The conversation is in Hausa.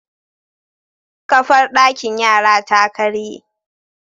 Kafar dakin yara ta karye